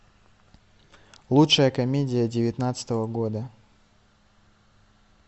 лучшая комедия девятнадцатого года